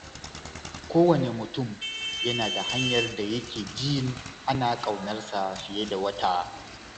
Kowane mutum yana da hanyar da yake jin ana ƙaunarsa fiye da wata.